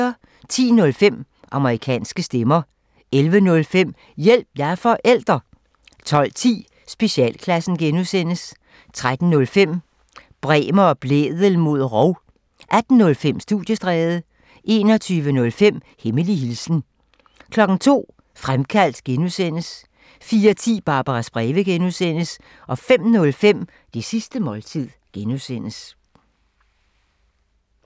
10:05: Amerikanske stemmer 11:05: Hjælp – jeg er forælder! 12:10: Specialklassen (G) 13:05: Bremer og Blædel mod rov 18:05: Studiestræde 21:05: Hemmelig hilsen 02:00: Fremkaldt (G) 04:10: Barbaras breve (G) 05:05: Det sidste måltid (G)